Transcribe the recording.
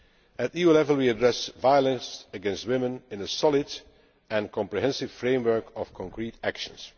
At EU level we address violence against women in a solid and comprehensive framework of concrete actions.